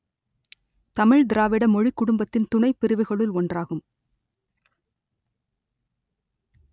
தமிழ் திராவிட மொழிக் குடும்பத்தின் துணைப் பிரிவுகளுள் ஒன்றாகும்